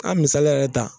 A misaliya yɛrɛ ta